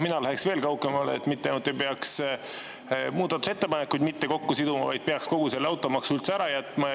Mina läheksin veel kaugemale: mitte ainult ei peaks muudatusettepanekuid mitte kokku siduma, vaid peaks kogu automaksu üldse ära jätma.